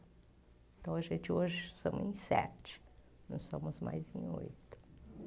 Então, a gente hoje estamos em sete, não somos mais em oito.